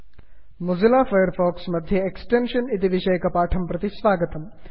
Mozilla Firefox मध्ये extension इति विषयकपाठं प्रति स्वागतम्